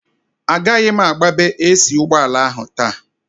Agaghị m agbabe AC ụgbọala ahụ taa